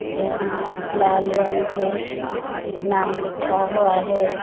यहाँ लाल रंग के नाम लिखा हुआ है।